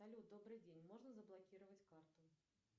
салют добрый день можно заблокировать карту